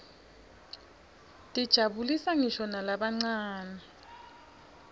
tijabulisa nqisho nalabancane